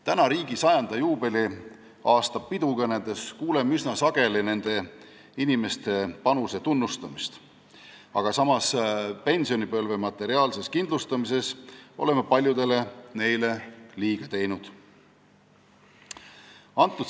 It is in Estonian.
Nüüd, riigi 100 aasta juubeli pidukõnedes kuuleme üsna sageli nende inimeste panuse tunnustamist, aga samas oleme pensionipõlve materiaalsel kindlustamisel paljudele neist liiga teinud.